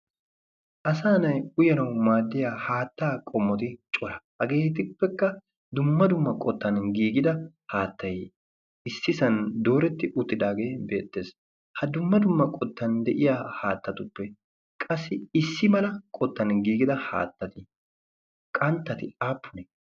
asa na7i uyanawu maaddiya haattaa qommoti cora. hageetippekka dumma dumma qottan giigida haattai issi san dooretti uttidaagee beettees. ha dumma dumma qottan de7iya haattatuppe qassi issi mala qottan giigida haattati qanttati aappunee?